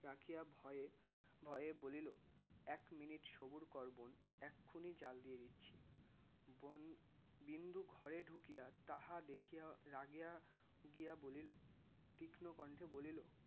রাখিয়া ভয়ে ভয়ে বলিলো এক মিনিট সবুর কর বোন এক্ষুনি জ্বাল দিয়ে দিচ্ছি বোন বিন্দু ঘরে ঢুকিয়া তাহা দেখিয়া রাগিয়া গিয়া বলিলো তীক্ষ্ণ কণ্ঠে বলিলো